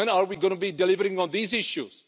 When are we going to be delivering on those issues?